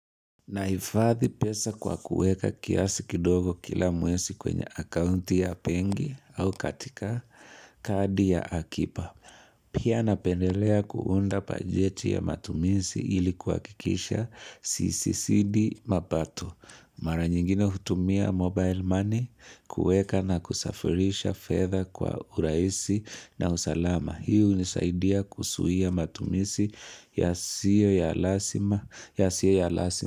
Naifadhi pesa kwa kuweka kiasi kidogo kila mwesi kwenye akaunti ya pengi au katika kadi ya akipa. Pia napendelea kuunda pajeti ya matumisi ili kuhakikisha sisizidi mapato. Mara nyingine hutumia mobile money, kuweka na kusafirisha fedha kwa uraisi na usalama. Hii hunisaidia kusuia matumisi yasiyo ya lasima.